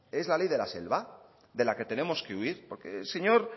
es la ley de la selva de la que tenemos que huir porque el señor